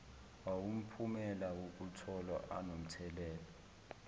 awumphumela wokutholwa anomthelela